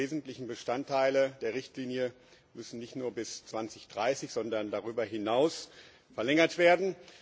Die wesentlichen Bestandteile der Richtlinie müssen nicht nur bis 2030, sondern darüber hinaus verlängert werden.